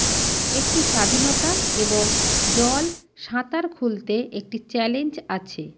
একটি স্বাধীনতা এবং জল সাঁতার খুলতে একটি চ্যালেঞ্জ আছে